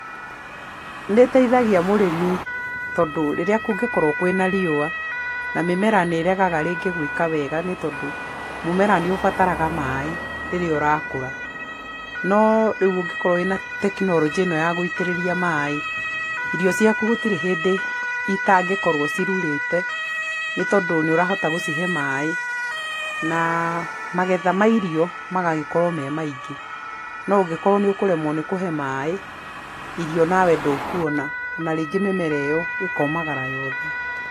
Nĩ ĩtethagia mũrĩmi tondũ rĩrĩa kũngĩkorwo kwĩ na riũa na mĩmera nĩregaga rĩngĩ gwĩka wega nĩ tondũ mũmera nĩ ũbataraga maĩ rĩrĩa ũrakũra. No rĩu ũngĩkorwo wĩ na tekinoronjĩ ĩno ya gũitĩrĩria maĩ, irio ciaku gũtirĩ hĩndĩ itangĩkorwo cirurĩte nĩ tondũ nĩ ũrahota gũcihe maĩ na magetha ma irio magagĩkorwo me maingí. No ũngĩkorwo nĩ ũkũremwo nĩ kũhe maĩ irio nawe ndũkuona na ringĩ mĩmera ĩyo ĩkomagara yothe.